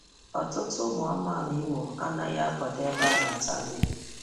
ọtụtụ ụmụ amaala Imo anaghị anaghị akwado ebe a na-ata nri.